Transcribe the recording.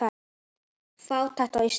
Fátækt á Íslandi